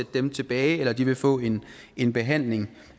dem tilbage eller de vil få en en behandling